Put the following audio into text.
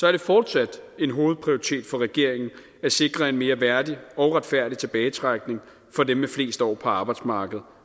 er det fortsat en hovedprioritet for regeringen at sikre en mere værdig og retfærdig tilbagetrækning for dem med flest år på arbejdsmarkedet